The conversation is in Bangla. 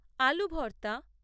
আলু ভর্তা